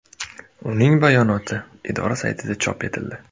Uning bayonoti idora saytida chop etildi .